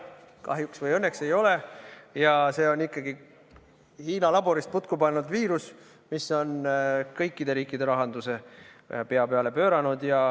Kahjuks või õnneks ei ole ja see on ikkagi Hiina laborist putku pannud viirus, mis on kõikide riikide rahanduse pea peale pööranud.